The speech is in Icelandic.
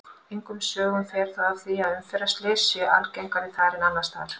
Engum sögum fer þó af því að umferðarslys séu algengari þar en annars staðar.